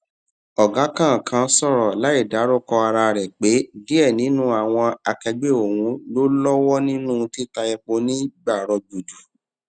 ọgá kan kan sọrọ láìdárúkọ ara rẹ pé díẹ ninu àwọn akẹgbẹ òhun ló lọwọ nínú títa epo ní gbàrọgbùdù